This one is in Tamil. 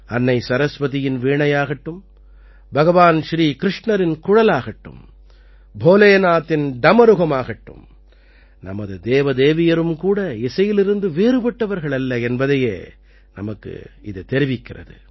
அன்னை சரஸ்வதியின் வீணையாகட்டும் பகவான் ஸ்ரீ கிருஷ்ணரின் குழலாகட்டும் போலேநாத்தின் டமருகமாகட்டும் நமது தேவதேவியரும் கூட இசையிலிருந்து வேறுபட்டவர்கள் அல்ல என்பதையே நமக்குத் தெரிவிக்கிறது